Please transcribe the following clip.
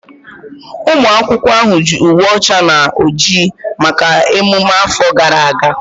Ụmụ akwụkwọ ahụ yi uwe ọcha na oji maka emume afọ gara aga